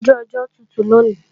Oju ọjọ́ tutù lòní